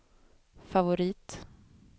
favorit